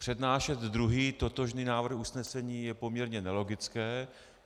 Přednášet druhý totožný návrh usnesení je poměrně nelogické.